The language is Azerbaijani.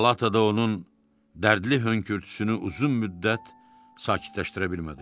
Palatada onun dərdli hönkürtüsünü uzun müddət sakitləşdirə bilmədilər.